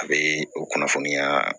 A bɛ o kunnafoniya